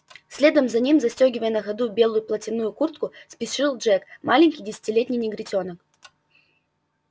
следом за ним застёгивая на ходу белую плотяную куртку спешил джек маленький десятилетний негритёнок